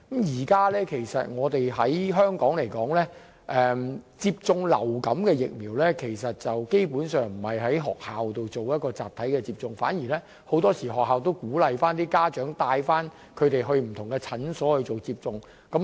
現時香港學童接種流感疫苗，不是在學校集體接種。很多時候，學校會鼓勵家長帶小朋友到診所接種。